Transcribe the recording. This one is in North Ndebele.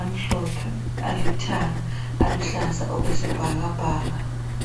amhlophe, alithanga laluhlahlaza okwesibhakabhaka.